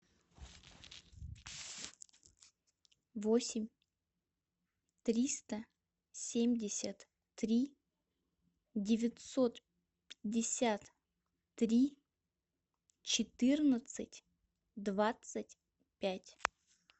восемь триста семьдесят три девятьсот пятьдесят три четырнадцать двадцать пять